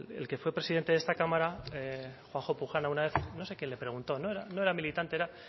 el que fue presidente de esta cámara juanjo pujana una vez no sé qué le preguntó no era militante era